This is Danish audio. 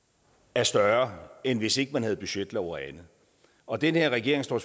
er større end hvis man ikke havde budgetlov og andet og den her regering står